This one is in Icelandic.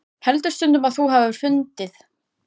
Heldur stundum að þú hafir fundið.